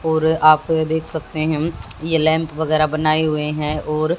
और आप देख सकते हैं ये लैंप वगैरा बनाए हुए हैं और--